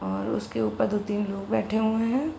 और उसके ऊपर दो तीन लोग बैठे हुए हैं।